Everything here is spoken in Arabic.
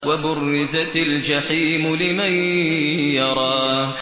وَبُرِّزَتِ الْجَحِيمُ لِمَن يَرَىٰ